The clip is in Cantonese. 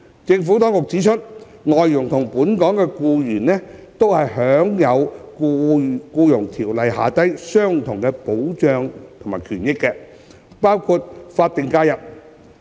政府當局指出，外傭與本地僱員享有《僱傭條例》下相同的保障和權益，包括法定假日。